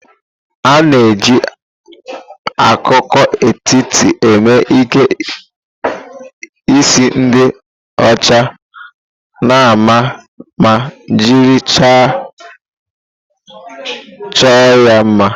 A na-eji akụkụ etiti eme ike isi ndi ochi nama ma jiri chaịlị chọọ ya mma.